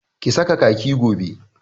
Ki saka kaki gobe!